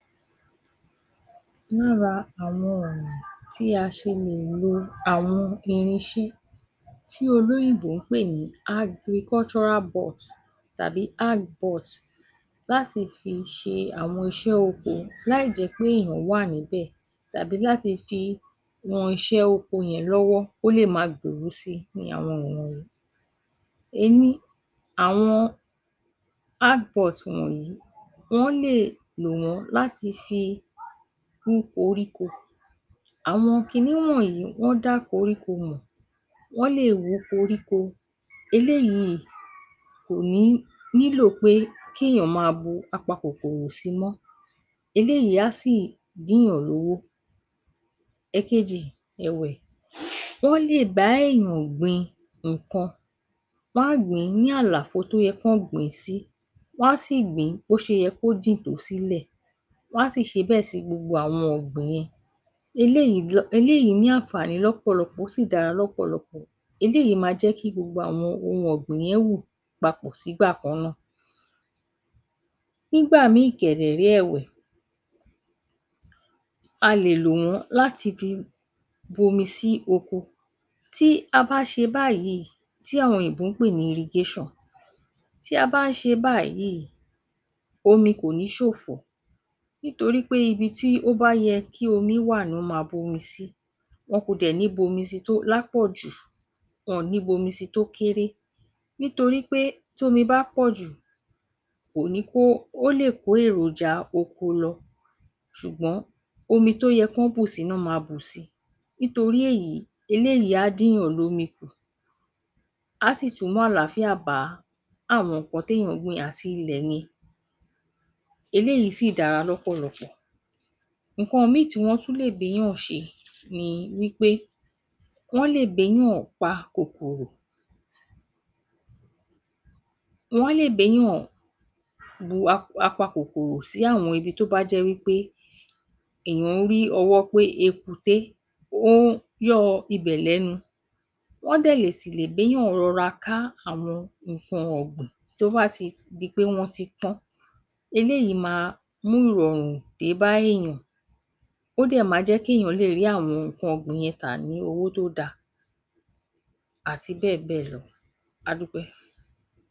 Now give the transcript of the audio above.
Lára àwọn ọ̀nà tí a ṣe lè lo àwọn irinṣẹ́ tí olóyìnbó ń pè ní agrikọ́ṣọ́rá bọọ̀t tàbí áág-bọọ̀t láti ṣe àwọn iṣẹ́ oko láì jẹ́ pé èèyàn wà níbẹ̀ tàbí láti fi ran iṣẹ́ oko yẹn lọ́wọ́ kò le ma gbèrú sí i ni àwọn wọ̀nyí. Ení, àwọn áág-bọọ̀t wọ̀nyí wọ́n lè lò wọ́n láti fi wú koríko. Àwọn kinní wọ̀nyí wọ́n dá koríko mọ̀. Wọ́n lè wú koríko. Eléyìí kò ní nílò pé kéèyàn máa bu apakòkòrò si mọ́. Eléyìí á sì dínyàn lówó. Ẹ̀kejì ẹ̀wẹ̀, ó lè bá èèyàn gbin nǹkan bá gbìn ín ní àlàfo tó yẹ kán gbìn ín sí. Wọ́n á sì gbìn ín bó se yẹ kó jìn tó sílẹ̀. Wọ́n á sì ṣe bẹ́ẹ̀ sí gbogbo àwọn ọ̀gbìn yẹn. Eléyìí um eléyìí ní ànfààní lọ́pọ̀lọpọ̀ ó sì dára lọ́pọ̀lọpọ̀. Eléyìí ma jẹ́ kí gbogbo àwọn ohun ọ̀gbìn yẹn wù papọ̀ sígbà kan náà. Nígbà mìíìn kẹ̀dẹ̀ ré ẹ̀wẹ̀, a lè lò wọ́n láti fi bomi sí oko. Tí a bá ṣe báyìí, tí àwọn òyìnbó ń pè ní irigéṣàn. Tí a bá ń ṣe báyìí, omi kò ní ṣòfò. Nítorí pé ibi tí ó bá yẹ kí omi wà ni wọn ma bu omi si. Wọn kò dẹ̀ ní bomi si tó lápọ̀jù, wọn ò ní bomi si tó kéré. Torí pé tómi bá pọ̀jù kò ní kó, ó lè kó èròjà oko lọ. Ṣùgbọ́n omi tó yẹ kán bù si nán máa bù si. Nítorí èyí, eléyìí á dìnyàn lómi kù. Á sì tún mú àlàáfíà bá àwọn nǹkan téèyàn gbìn àti ilẹ̀ yẹn. Eléyìí sì dára lọ́pọ̀lọpọ̀. Nǹkan mìíìn tí wọ́n tún lè béyàn ṣe ni wí pé wọ́n lè béyàn pa kòkòrò. Wọ́n lè béyàn bu ap...apakòkòrò sí àwọn ibi tó bá jẹ́ wí pé èèyàn ń rí ọwọ́ pé ekuté ó ń yọ́ọ ibẹ̀ lẹ́nu. Wọ́n dẹ̀ lè sì lè béyàn rọra ká àwọn nǹkan ọ̀gbìn tí ó bá ti di pé wọ́n ti pọ́n. Eléyìí ma mú ìrọ̀rùn débá èèyàn. Ó dẹ̀ ma jẹ́ kéèyàn lè rí àwọn nǹkan ọ̀gbìn yẹn tà ní owó tó da, àti bẹ́ẹ̀ bẹ́ẹ̀ lọ. A dúpẹ́.